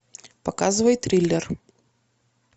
показывай триллер